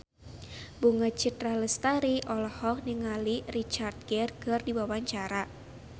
Bunga Citra Lestari olohok ningali Richard Gere keur diwawancara